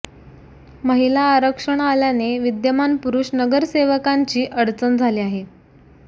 महिला आरक्षण आल्याने विद्यमान पुरुष नगरसेवकांची अडचण झाली आहे